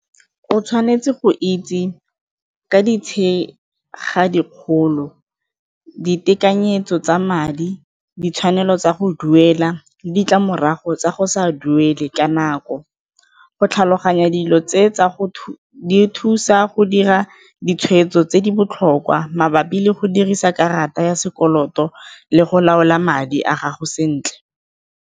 O tshwanetse go itse ka dikgolo, ditekanyetso tsa madi, ditshwanelo tsa go duela le ditlamorago tsa go sa duele ka nako, go tlhaloganya dilo tse tsa go thusa go dira ditshwetso tse di botlhokwa mabapi le go dirisa karata ya sekoloto le go laola madi a gago sentle.